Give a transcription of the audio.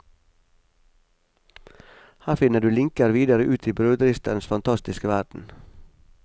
Her finner du linker videre ut i brødristerens fantastiske verden.